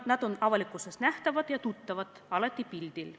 Nad on avalikkuses nähtavad ja tuttavad, alati pildil.